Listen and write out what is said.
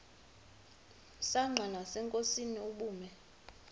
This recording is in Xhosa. msanqa nasenkosini ubume